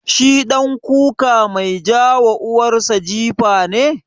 Shi ɗan kuka mai ja wa uwar sa jifa ne?